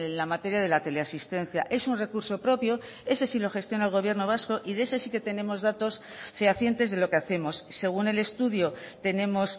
la materia de la teleasistencia es un recurso propio ese sí lo gestiona el gobierno vasco y de ese sí que tenemos datos fehacientes de lo que hacemos según el estudio tenemos